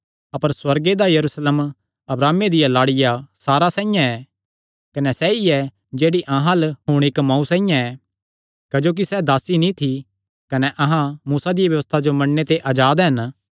अपर सुअर्गे दा यरूशलेम अब्राहमे दिया लाड़िया सारा साइआं ऐ कने सैई ऐ जेह्ड़ी अहां अल्ल हुण इक्क मांऊ साइआं ऐ क्जोकि सैह़ दासी नीं थी कने अहां मूसा दिया व्यबस्था जो मन्नणे ते अजाद हन